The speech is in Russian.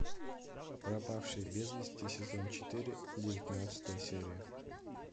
пропавший без вести сезон четыре девятнадцатая серия